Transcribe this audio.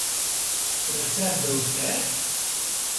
Recept za uspeh?